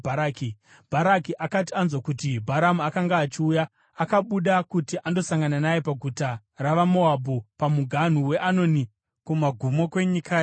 Bharaki akati anzwa kuti Bharamu akanga achiuya, akabuda kuti andosangana naye paguta ravaMoabhu pamuganhu weAnoni, kumagumo kwenyika yake.